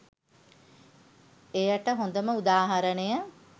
එයට හොඳම උදාහරණය